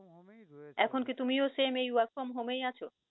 এখন কি তুমিও same এই work from home এই আছো?